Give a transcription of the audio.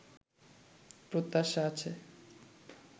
প্রত্যাশা আছে